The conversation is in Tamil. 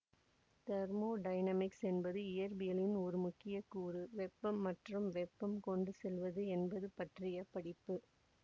தெர்மோ டைனமிக்ஸ் என்பது இயற்பியலின் ஒரு முக்கிய கூறு வெப்பம் மற்றும் வெப்பம் கொண்டு செல்வது என்பது பற்றிய படிப்பு